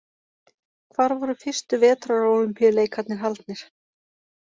Hvar voru fyrstu vetrarólympíuleikarnir haldnir?